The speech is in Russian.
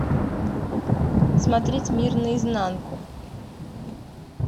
смотреть мир наизнанку